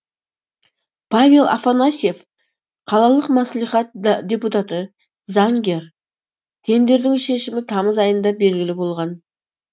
павел афанасьев қалалық мәслихат депутаты заңгер тендердің шешімі тамыз айында белгілі болған